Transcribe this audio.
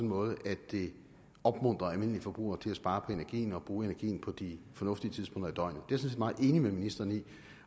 måde at det opmuntrer almindelige forbrugere til at spare på energien og bruge energien på de fornuftige tidspunkter af døgnet det set meget enig med ministeren i